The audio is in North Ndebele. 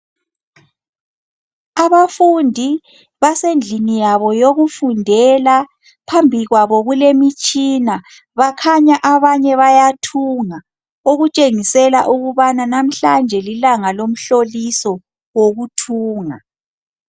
Abafundi basendlini yabo yokufundela. Phambi kwabo kulemitshina bakhanya abanye bayathunga okutshengisela ukubana namuhlanje lilanga lomhloliso wokuthunga.